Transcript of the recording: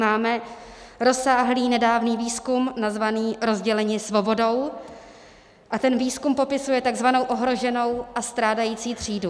Máme rozsáhlý nedávný výzkum nazvaný "rozděleni svobodou" a ten výzkum popisuje takzvanou ohroženou a strádající třídu.